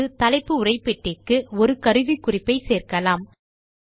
அடுத்து தலைப்பு உரைப்பெட்டிக்கு ஒரு கருவிக்குறிப்பை சேர்க்கலாம்